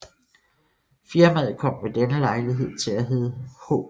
Firmaet kom ved denne lejlighed til at hedde H